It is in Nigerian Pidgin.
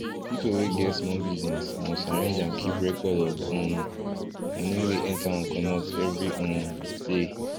people wey get small business must arrange and keep record of um money wey enter and comot every um day